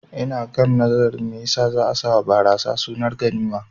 Ina kan nazarin me yasa za'a sawa barasa sunar ganima